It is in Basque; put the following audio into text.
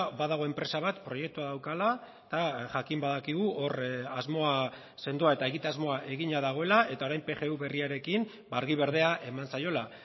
badago enpresa bat proiektua daukala eta jakin badakigu hor asmoa sendoa eta egitasmoa egina dagoela eta orain pgu berriarekin argi berdea eman zaiola